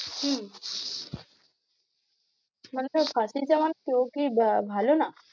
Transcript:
হম মানে তার পাশের কেউ কি আহ ভালো না?